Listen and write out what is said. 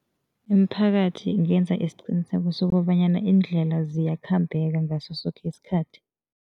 Imiphakathi ingenza isiqiniseko sokobanyana iindlela ziyakhambeka ngaso soke isikhathi.